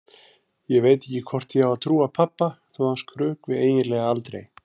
Ég veit ekki hvort ég á að trúa pabba þó að hann skrökvi eiginlega aldrei.